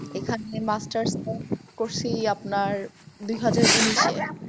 এখানে masters করসি আপনার দুহাজার উনিশে।